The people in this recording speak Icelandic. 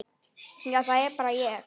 Já, það er bara ég.